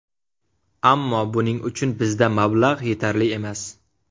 Ammo buning uchun bizda mablag‘ yetarli emas.